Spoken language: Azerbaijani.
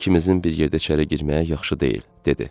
İkimizin bir yerdə içəri girməyə yaxşı deyil, dedi.